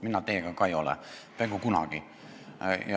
Mina ei ole teiega ka peaaegu kunagi nõus.